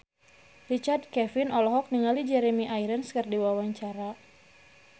Richard Kevin olohok ningali Jeremy Irons keur diwawancara